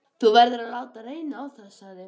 Þú verður að láta reyna á það, sagði